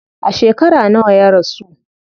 A shekara nawa ya rasu?